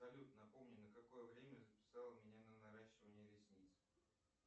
салют напомни на какое время записала меня на наращивание ресниц